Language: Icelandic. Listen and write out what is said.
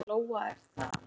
Hvað Lóa er það?